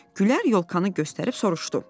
Gülər yolkanı göstərib soruşdu: